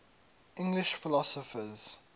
english philosophers